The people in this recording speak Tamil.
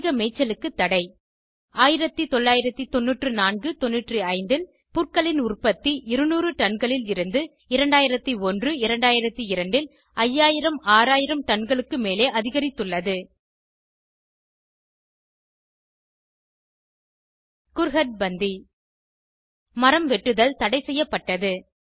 அதிக மேய்ச்சலுக்கு தடை 1994 95 ல் புற்களின் உற்பத்தி 200 டன்களில் இருந்து 2001 2002 ல் 5000 6000 டன்களுக்கும் மேலே அதிகரித்துள்ளது குர்ஹர்ட் பந்தி மரம் வெட்டுதல் தடை செய்யப்பட்டது